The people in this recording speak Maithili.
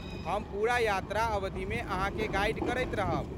हम पूरा यात्रा अवधिमे अहाँके गाइड करैत रहब।